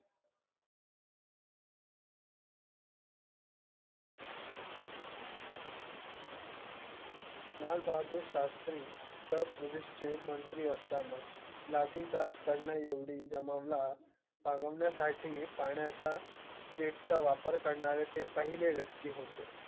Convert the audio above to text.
लाल बहादुर शास्त्री उत्तर प्रदेश चे मंत्री असताना लाठीचार्ज करणा एवढी जमावा ला पांग वण्यासाठी पाण्याचा jet चा वापर करणारे ते पहिले व्यक्ति होते.